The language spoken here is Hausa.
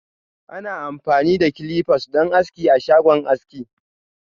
Ana amfani da "clippers" don aski a shagon aski.